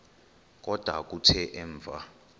kodwa kuthe emva